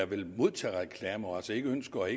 vil modtage reklamer og altså ikke ønsker at